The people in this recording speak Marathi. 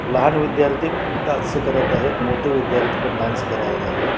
लहान विध्यार्थी डान्स करत आहेत मोठे विध्यार्थी पण डान्स करत आहेत.